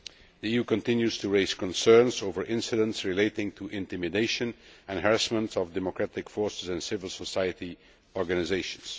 The EU continues to raise concerns over incidents relating to the intimidation and harassment of democratic forces and civil society organisations.